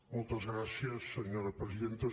moltes gràcies senyora presidenta